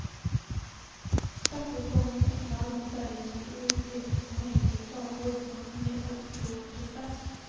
Trappuppgången är kall, färgen är urblekt och hänger i flagor som förmedlar grå tristess.